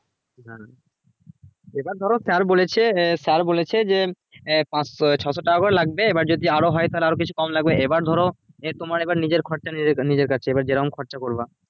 হ্যাঁ সেটা ধরো sir বলেছে sir বলেছে যে এই পাঁচশো~ ছশো টাকা করে লাগবে এবার যদি আরো হয়ে তাহলে আরো কিছু কম লাগবে, এবার ধরো এর তোমার এবার নিজের খরচা নিজ~ নিজের কাছে এবার জেরম খরচা করবা